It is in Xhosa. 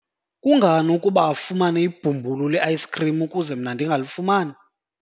kungani ukuba afumane ibhumbulu le-ayisikhrim ukuze mna ndingalifumani?